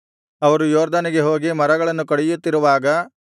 ಅವರು ಯೊರ್ದನಿಗೆ ಹೋಗಿ ಮರಗಳನ್ನು ಕಡಿಯುತ್ತಿರುವಾಗ